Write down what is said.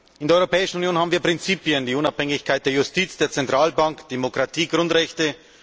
In der Europäischen Union haben wir Prinzipien die Unabhängigkeit der Justiz, der Zentralbank, Demokratiegrundrechte.